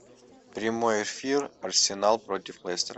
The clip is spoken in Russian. прямой эфир арсенал против лестера